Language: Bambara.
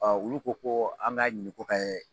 olu ko ko an k'a ɲini ko kɛ